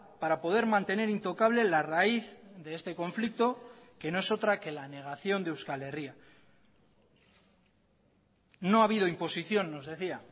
para poder mantener intocable la raíz de este conflicto que no es otra que la negación de euskal herria no ha habido imposición nos decía